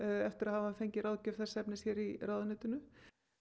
eftir að hafa fengið ráðgjöf þess efnis í í ráðuneytinu